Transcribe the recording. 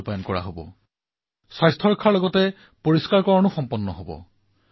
ইয়াৰ দ্বাৰা আমি কেৱল নিজৰ স্বাস্থ্যই নহয় ধৰিত্ৰীৰো স্বাস্থ্যৰ ৰক্ষা কৰিব পাৰিম